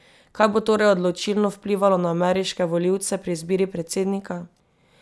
Kaj bo torej odločilno vplivalo na ameriške volivce pri izbiri predsednika?